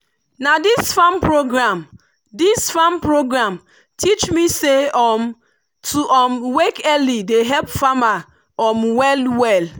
na this farm program this farm program teach me say um to um wake early dey help farmer um well-well.